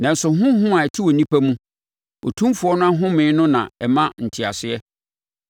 Nanso honhom a ɛte onipa mu, Otumfoɔ no ahomeɛ no na ɛma nteaseɛ.